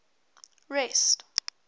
rest